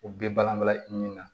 U bɛ balan balan i ni min na